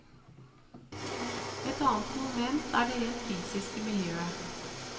Et annet moment er det rent fysiske miljøet.